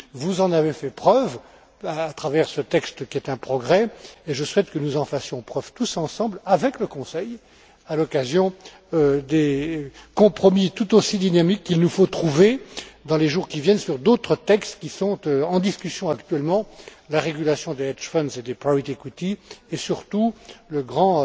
Vous en avez fait preuve à travers ce texte qui est un progrès, et je souhaite que nous en fassions preuve tous ensemble, avec le Conseil, à l'occasion des compromis tout aussi dynamiques qu'il nous faudra trouver dans les jours qui viennent sur d'autres textes qui sont en discussion actuellement, la régulation des hedge funds et des private equity et surtout le grand